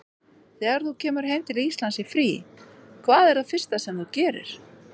Þegar þú kemur heim til Íslands í frí, hvað er það fyrsta sem þú gerir?